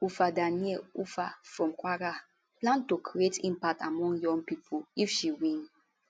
ufa dania ufa from kwara plan to create impact among young pipo if she win